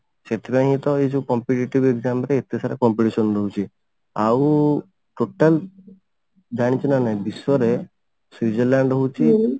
ସେଥିପାଇଁ ହିଁ ତ ଏଇ ଯଉ competitive exam ରେ ଏତେ ସାରା competition ରହୁଛି ଆଉ total ଜାଣିଛୁ ନା ନାହିଁ ବିଶ୍ଵରେ ସ୍ଵିଜରଲ୍ୟାଣ୍ଡ ହଉଛି